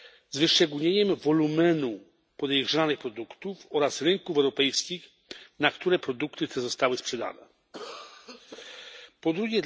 z wyszczególnieniem wolumenu podejrzanych produktów oraz rynków europejskich, na które produkty te zostały sprzedane? 2.